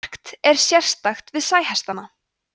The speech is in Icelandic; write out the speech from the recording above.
margt er sérstakt við sæhestana